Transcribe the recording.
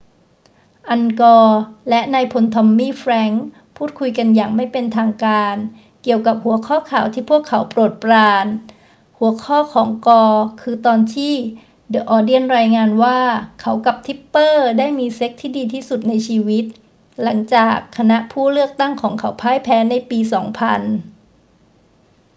อัล กอร์และนายพลทอมมี่ แฟรงกส์พูดคุยกันอย่างไม่เป็นทางการเกี่ยวกับหัวข้อข่าวที่พวกเขาโปรดปราน หัวข้อของกอร์คือตอนที่เดอะ ออนเนียนรายงานว่าเขากับทิปเปอร์ได้มีเซ็กซ์ที่ดีที่สุดในชีวิต หลังจากคณะผู้เลือกตั้งของเขาพ่ายแพ้ในปี 2000